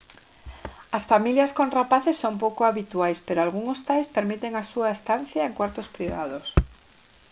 as familias con rapaces son pouco habituais pero algúns hostais permiten a súa estancia en cuartos privados